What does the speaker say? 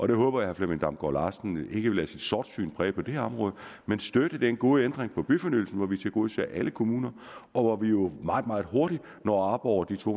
jeg håber at herre flemming damgaard larsen ikke vil lade sit sortsyn præge det her område men støtte den gode ændring i byfornyelsen hvor vi tilgodeser alle kommuner og hvor vi jo meget meget hurtigt når op over de to